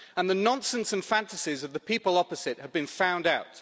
The nonsense and fantasies of the people opposite have been found out.